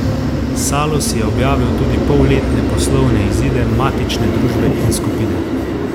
Salus je objavil tudi polletne poslovne izide matične družbe in skupine.